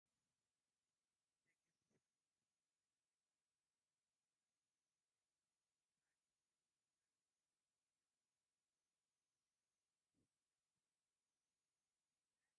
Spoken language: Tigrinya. ደገፍቲ ሰብዓ እንደርታ ናይ መለለይ ማልይኦም ጌሮም ተኣኪቦም ኣብ ማእከል ፅርግያ ኣለዉ እዞም ደገፍቲ ናይ ሰብዓ እንታይ ይገብሩ ኣለዉ ?